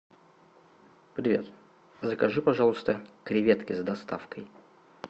привет закажи пожалуйста креветки с доставкой